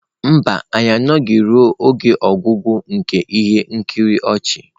Mba, anyị anọghị ruo ọgwụgwụ nke ihe nkiri ọchị.